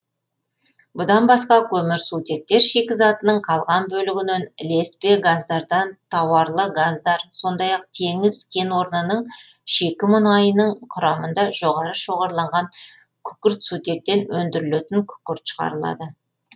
бұдан басқа көмірсутектер шикізатының қалған бөлігінен ілеспе газдардан тауарлы газдар сондай ақ теңіз кен орнының шикі мұнайының құрамында жоғары шоғырланған күкіртсутектен өндірілетін күкірт шығарылады